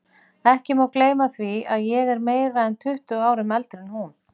Ég má ekki gleyma því að ég er meira en tuttugu árum eldri en hún.